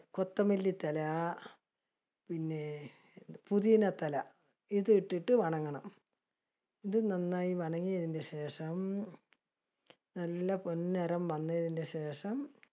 കൊത്തമല്ലി തല, പിന്നെ പുതിന തല ഇത് ഇട്ടിട്ട് . ഇതു നന്നായി ശേഷം, നല്ല പൊൻനിറം വന്നതിനുശേഷം